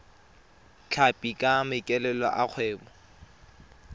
tlhapi ka maikaelelo a kgwebo